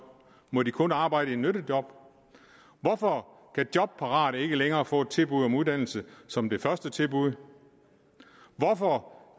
må de kun arbejde i nyttejob hvorfor kan jobparate ikke længere få et tilbud om uddannelse som det første tilbud hvorfor